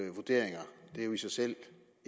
vurderinger det er jo i sig selv